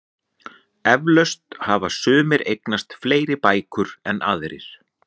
Eflaust hafa sumir eignast fleiri bækur en aðrir.